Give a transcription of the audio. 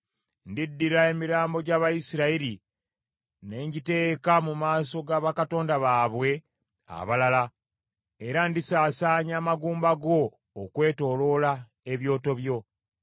Ndiddira emirambo gy’Abayisirayiri ne ngiteeka mu maaso ga bakatonda baabwe abalala, era ndisaasaanya amagumba go okwetooloola ebyoto byo.